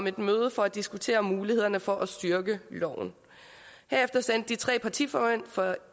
et møde for at diskutere mulighederne for at styrke loven herefter sendte de tre partiformænd fra